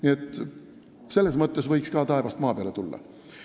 Nii et selles mõttes võiks ka taevast maa peale tulla.